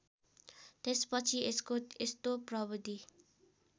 त्यसपछि यसको यस्तो प्रविधि